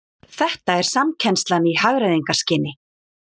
Þetta er samkennslan í hagræðingarskyni